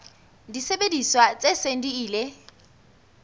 disebediswa tse seng di ile